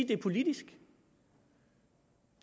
det er politisk det